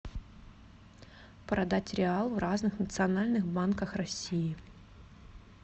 продать реал в разных национальных банках россии